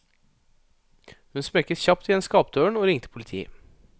Hun smekket kjapt igjen skapdøren og ringte politiet.